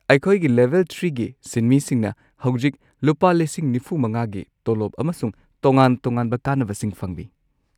ꯑꯩꯈꯣꯏꯒꯤ ꯂꯦꯚꯦꯜ ꯳ꯒꯤ ꯁꯤꯟꯃꯤꯁꯤꯡꯅ ꯍꯧꯖꯤꯛ ꯴꯵,꯰꯰꯰ꯒꯤ ꯇꯣꯂꯣꯞ ꯑꯃꯁꯨꯡ ꯇꯣꯉꯥꯟ-ꯇꯣꯉꯥꯟꯕ ꯀꯥꯟꯅꯕꯁꯤꯡ ꯐꯪꯂꯤ꯫